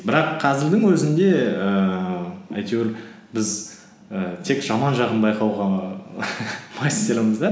бірақ қазірдің өзінде ііі әйтеуір біз і тек жаман жағын байқауға мастермыз да